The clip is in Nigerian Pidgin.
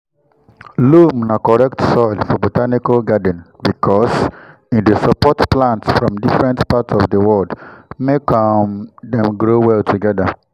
loam na correct soil for botanical garden because e dey support plant from different part of the world make um dem grow well together.